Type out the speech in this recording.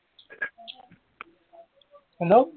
Hello